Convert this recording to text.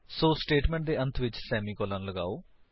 ਸੋ statement ਦੇ ਅੰਤ ਵਿੱਚ ਸੇਮੀਕਾਲਨ ਨੂੰ ਲਗਾਓ